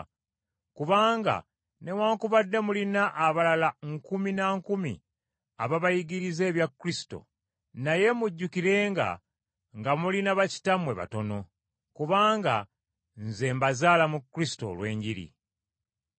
Kubanga newaakubadde mulina abalala nkumi na nkumi ababayigiriza ebya Kristo, naye mujjukirenga nga mulina bakitammwe batono. Kubanga nze mbazaala mu Kristo olw’enjiri.